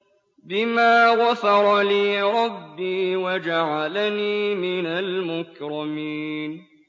بِمَا غَفَرَ لِي رَبِّي وَجَعَلَنِي مِنَ الْمُكْرَمِينَ